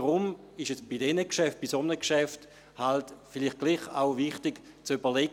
Deshalb ist es bei diesen Geschäften, bei einem solchen Geschäft vielleicht trotzdem wichtig zu überlegen: